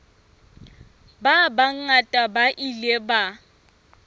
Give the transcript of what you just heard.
ba bangata ba ile ba